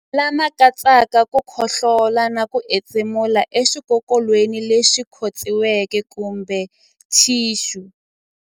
Lama katsaka ku khohlola na ku entshemulela exikokolweni lexi khotsiweke kumbe thixu.